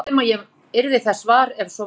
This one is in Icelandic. Ég efast um að ég yrði þess var, ef svo væri